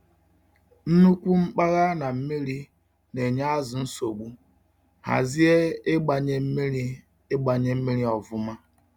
Nnukwu mkpaghaị̀ na mmiri na-enye azu nsogbu—hazịe ịgbanye mmiri ịgbanye mmiri ọfụma